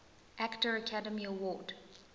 actor academy award